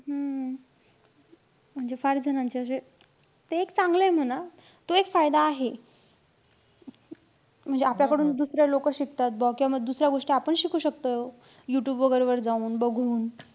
हम्म म्हणजे फार जणांचे अशे. ते एक चांगलंय म्हणा. तो एक फायदा आहे. म्हणजे आपल्याकडून दुसरे लोकं शिकतात बौ. किंवा माफ दुसऱ्या गोष्टी आपण शिकू शकतो. Youtube वैगेरे वर जाऊन, बघून.